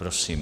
Prosím.